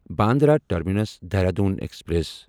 Bandra terminus Dehradun express